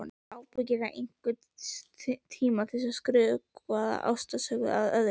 Ég hef ábyggilega einhvern tíma skrökvað ástarsögu að öðrum.